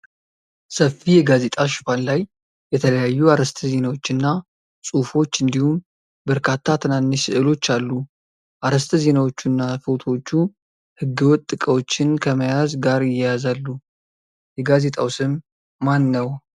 ሰፊ የጋዜጣ ሽፋን ላይ የተለያዩ አርዕስተ ዜናዎችና ጽሑፎች እንዲሁም በርካታ ትናንሽ ሥዕሎች አሉ። አርዕስተ ዜናዎቹና ፎቶዎቹ ሕገወጥ ዕቃዎችን ከመያዝ ጋር ይያያዛሉ። የጋዜጣው ስም ማን ነው?